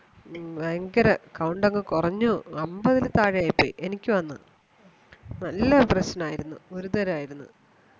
ഭയങ്കരം count അങ്ങ് കുറഞ്ഞു അമ്പതിൽ താഴെ ആയിപ്പോയി എനിക്ക് വന്നു നല്ല പ്രശ്നം ആയിരുന്നു ഗുരുതരം ആയിരുന്നു